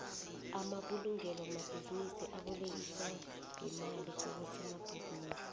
amabulungelo wamabhinisi abolekisa ngemali kobosobhizinisi